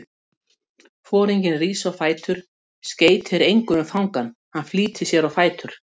Foringinn rís á fætur, skeytir engu um fangann, hann flýtir sér á fætur.